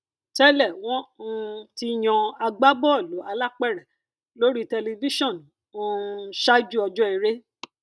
tẹlẹ wọn um ti yan agbábọọlù alápèrẹ lórí tẹlifíṣàn um ṣáájú ọjọ eré